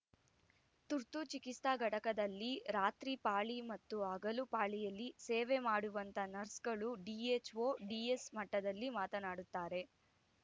ತುರ್ತು ಚಿಕಿತ್ಸಾ ಘಟಕದಲ್ಲಿ ರಾತ್ರಿ ಪಾಳಿ ಮತ್ತು ಹಗಲು ಪಾಳಿಯಲ್ಲಿ ಸೇವೆ ಮಾಡುವಂತ ನರ್ಸ್‌ಗಳು ಡಿಎಚ್‌ಒ ಡಿಎಸ್‌ ಮಟ್ಟದಲ್ಲಿ ಮಾತನಾಡುತ್ತಾರೆ